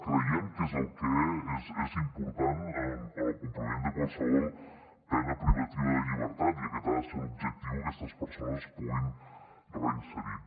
creiem que és el que és important en el compliment de qualsevol pena privativa de llibertat i aquest ha de ser l’objectiu que aquestes persones es puguin reinserir